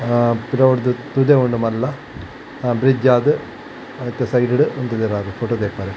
ಆ ಪಿರವುಡ್ದು ತುದೆ ಉಂಡು ಮಲ್ಲ ಅ ಬ್ರಿಡ್ಜ್ ಆದ್ ಐತ ಸೈಡ್ ಡ್ ಉಂತುದೆರಾಂದ್ ಫೊಟೊ ದೆಪ್ಪರೆ.